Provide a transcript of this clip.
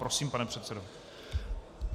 Prosím, pane předsedo.